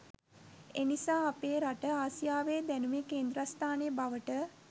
එනිසා අපේ රට ආසියාවේ දැනුමේ කේන්ද්‍රස්ථානය බවට